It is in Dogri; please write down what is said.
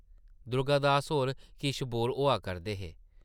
दुर्गा दास होर किश बोर होआ करदे हे ।